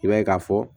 I b'a ye k'a fɔ